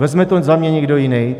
Vezme to za mě někdo jiný?